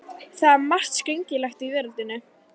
Það er margt skringilegt í veröldinni.